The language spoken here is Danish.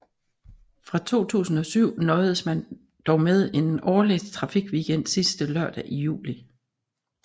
Fra 2007 nøjedes man dog med en årlig trafikweekend sidste lørdag i juli